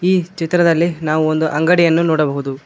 ಈ ಚಿತ್ರದಲ್ಲಿ ನಾವು ಒಂದು ಅಂಗಡಿಯನ್ನು ನೋಡಬಹುದು.